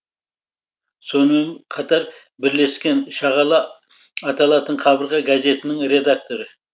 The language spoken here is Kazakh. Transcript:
сонымен қатар бірлестіктің шағала аталатын қабырға газетінің редакторы